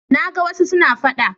Na ga wasu suna faɗa.